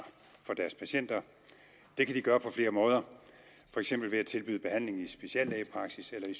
for deres patienter det kan de gøre på flere måder for eksempel ved at tilbyde behandling i speciallægepraksis eller i